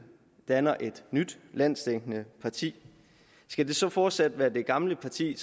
danner et nyt landsdækkende parti skal det så fortsat være det gamle parti